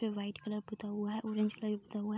पे white colour पुता हुआ है ऑरेंज कलर भी पुता हुआ है।